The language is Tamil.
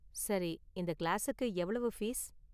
சரி, இந்த கிளாஸுக்கு எவ்வளவு ஃபீஸ்?